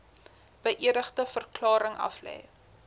beëdigde verklaring aflê